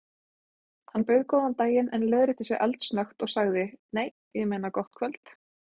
Hann bauð góðan daginn en leiðrétti sig eldsnöggt og sagði: Nei, ég meina gott kvöld.